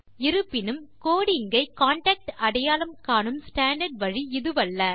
இருப்பினும் கோடிங் ஐ கான்டாக்ட் அடையாளம் காணும் ஸ்டாண்டார்ட் வழி இதுவல்ல